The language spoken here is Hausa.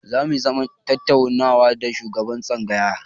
Zamu yi zaman tattaunawa da shugaban tsangayar.